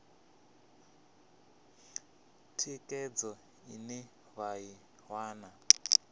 thikhedzo ine vha i wana